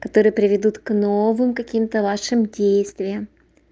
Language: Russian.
которые приведут к новым каким-то вашим действиям